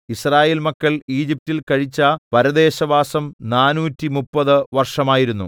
യിസ്രായേൽ മക്കൾ ഈജിപ്റ്റിൽ കഴിച്ച പരദേശവാസം നാനൂറ്റിമുപ്പത് 430 വർഷമായിരുന്നു